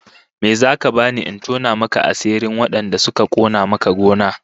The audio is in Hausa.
Me zaka bani in tona maka asirin wadanda suka kona maka gona?